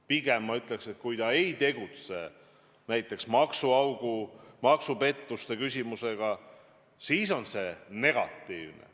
Pigem ma ütleks, et kui ta ei tegeleks maksuaugu, maksupettuste küsimusega, siis see oleks negatiivne.